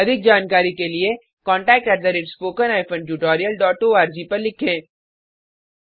अधिक जानकारी के लिए contactspoken tutorialorg पर लिखें